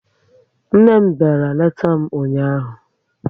Nne m bịara leta m ụnyaahụ